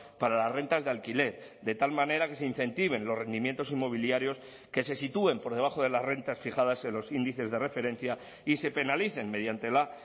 para las rentas de alquiler de tal manera que se incentiven los rendimientos inmobiliarios que se sitúen por debajo de las rentas fijadas en los índices de referencia y se penalicen mediante la